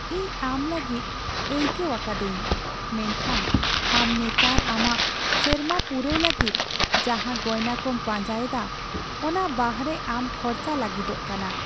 ᱤᱧ ᱟᱢ ᱞᱟᱹᱜᱤᱫ ᱟᱭᱠᱟᱹᱣ ᱟᱠᱟᱫᱟᱹᱧ, ᱢᱮᱱᱠᱷᱟᱱ ᱟᱢ ᱱᱮᱛᱟᱨ ᱟᱢᱟᱜ ᱥᱮᱨᱢᱟ ᱯᱩᱨᱟᱹᱣ ᱞᱟᱹᱜᱤᱫ ᱡᱟᱦᱟᱸ ᱜᱚᱭᱱᱟ ᱠᱚᱢ ᱯᱟᱸᱡᱟ ᱮᱫᱟ ᱚᱱᱟ ᱵᱟᱦᱨᱮ ᱟᱢ ᱠᱷᱚᱨᱪᱟ ᱞᱟᱹᱜᱤᱫᱚᱜ ᱠᱟᱱᱟ ᱾